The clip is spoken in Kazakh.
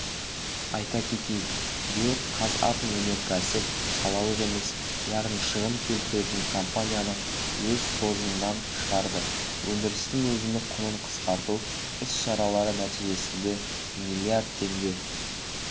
айта кетейік биыл қазатомөнеркәсіп салалық емес яғни шығын келтіретін компанияны өз қоржынан шығарды өндірістің өзіндік құнын қысқарту іс-шаралары нәтижесінде млрд теңге